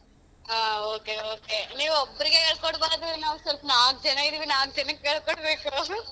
ಹ okay okay. ನೀವು ಒಬ್ಬರಿಗೆ ಹೇಳ್ ಕೊಡಬಾರ್ದು ನಾವ್ ಸೊಲ್ಪ ನಾಕ್ ಜನ ಇದೀವಿ ನಾಕ್ ಜನಕ್ ಹೇಳ್ಕೊಡ್ಬೇಕು .